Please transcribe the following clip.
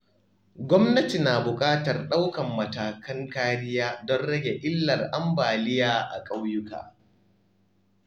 Gwamnati na buƙatar ɗaukar matakan kariya domin rage illar ambaliya a ƙauyuka.